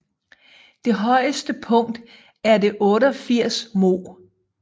Det højeste punkt er det 88 moh